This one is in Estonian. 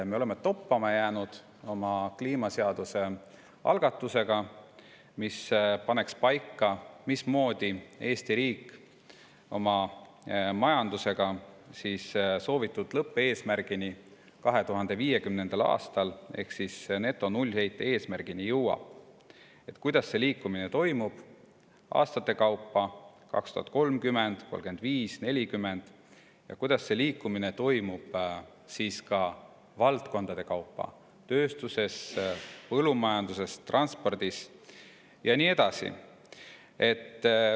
Me oleme toppama jäänud oma kliimaseaduse algatusega, mis paneks paika, mismoodi jõuab Eesti riik majanduses 2050. aastal soovitud lõppeesmärgini ehk netonullheite eesmärgini, kuidas see liikumine toimub aastate kaupa – 2030, 2035, 2040 – ja kuidas see liikumine toimub ka valdkondade kaupa: tööstuses, põllumajanduses, transpordis ja nii edasi.